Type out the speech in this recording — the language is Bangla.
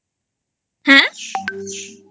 হ্যাঁ?